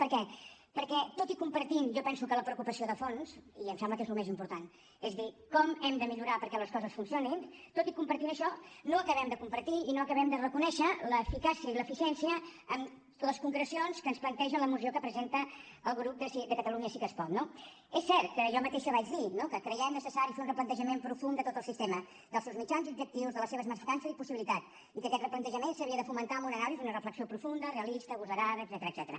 per què perquè tot i compartint jo penso que la preocupació de fons i em sembla que és el més important és a dir com hem de millorar perquè les coses funcionin tot i compartir això no acabem de compartir i no acabem de reconèixer l’eficàcia i l’eficiència en les concrecions que ens planteja la moció que presenta el grup de catalunya sí que es pot no és cert que jo mateixa vaig dir no que creiem necessari fer un replantejament profund de tot el sistema dels seus mitjans i objectius de les seves mancances i possibilitats i que aquest replantejament s’havia de fomentar en una anàlisi i una reflexió profunda realista agosarada etcètera